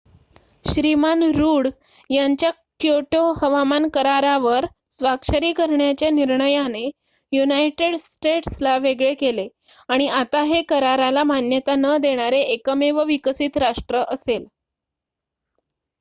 श्रीमान Rudd यांच्या Kyoto हवामान करारावर स्वाक्षरी करण्याच्या निर्णयाने युनायटेड स्टेट्सला वेगळे केले आणि आता हे कराराला मान्यता न देणारे एकमेव विकसित राष्ट्र असेल